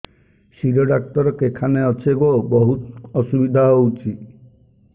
ଶିର doctor କେଖାନେ ଅଛେ ଗୋ ବହୁତ୍ ଅସୁବିଧା ହଉଚି